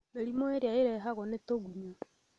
Mĩrimũ ĩrĩa ĩrehagwo nĩ tũgunyũ